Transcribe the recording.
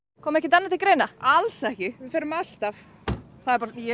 kom ekkert annað til greina alls ekki við förum alltaf ég er